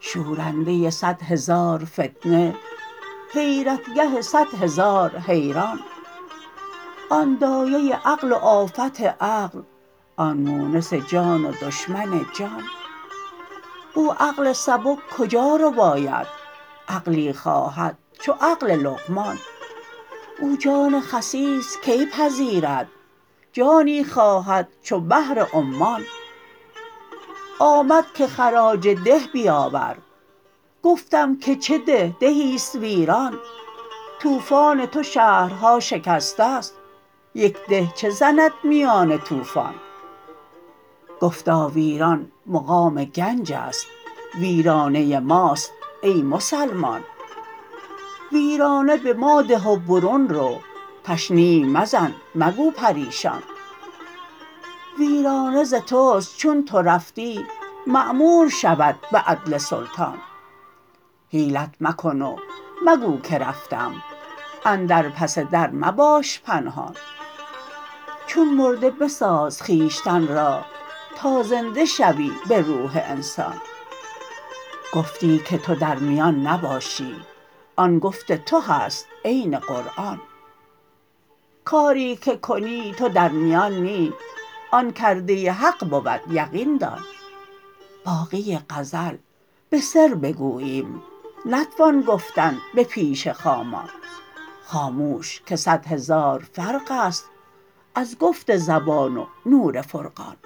شورنده صد هزار فتنه حیرتگه صد هزار حیران آن دایه عقل و آفت عقل آن مونس جان و دشمن جان او عقل سبک کجا رباید عقلی خواهد چو عقل لقمان او جان خسیس کی پذیرد جانی خواهد چو بحر عمان آمد که خراج ده بیاور گفتم که چه ده دهی است ویران طوفان تو شهرها شکست است یک ده چه زند میان طوفان گفتا ویران مقام گنج است ویرانه ماست ای مسلمان ویرانه به ما ده و برون رو تشنیع مزن مگو پریشان ویرانه ز توست چون تو رفتی معمور شود به عدل سلطان حیلت مکن و مگو که رفتم اندر پس در مباش پنهان چون مرده بساز خویشتن را تا زنده شوی به روح انسان گفتی که تو در میان نباشی آن گفت تو هست عین قرآن کاری که کنی تو در میان نی آن کرده حق بود یقین دان باقی غزل به سر بگوییم نتوان گفتن به پیش خامان خاموش که صد هزار فرق است از گفت زبان و نور فرقان